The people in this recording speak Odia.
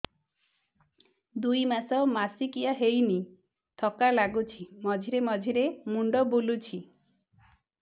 ଦୁଇ ମାସ ମାସିକିଆ ହେଇନି ଥକା ଲାଗୁଚି ମଝିରେ ମଝିରେ ମୁଣ୍ଡ ବୁଲୁଛି